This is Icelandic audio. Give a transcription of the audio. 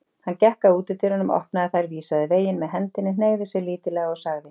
Hann gekk að útidyrunum, opnaði þær, vísaði veginn með hendinni, hneigði sig lítillega og sagði